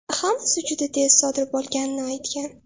hammasi juda tez sodir bo‘lganini aytgan.